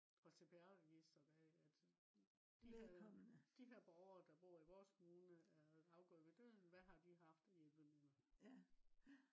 og CPR registeret af at de her borgere der bor i vores kommune er afgået ved døden hvad har de haft af hjælpemidler